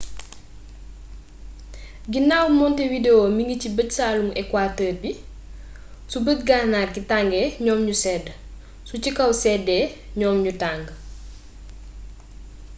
ginaaw montevideo mingi ci bëj-saalumu equateur bi su bëj-gànnaar gi tàngee ñoom ñu sedd su ci kaw séddee ñoom ñu tàng